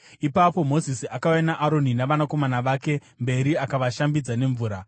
Ipapo Mozisi akauya naAroni navanakomana vake mberi akavashambidza nemvura.